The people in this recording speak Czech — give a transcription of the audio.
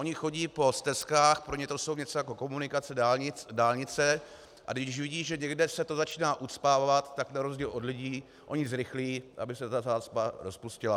Oni chodí po stezkách, pro ně to jsou něco jako komunikace, dálnice, a když vidí, že někde se to začíná ucpávat, tak na rozdíl od lidí oni zrychlí, aby se ta zácpa rozpustila.